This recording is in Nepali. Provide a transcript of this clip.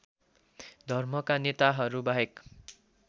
धर्मका नेताहरू बाहेक